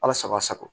Ala sago a sago